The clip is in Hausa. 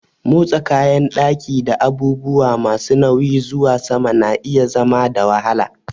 Motsa kayan ɗaki da abubuwa masu nauyi zuwa sama na iya zama da wahala.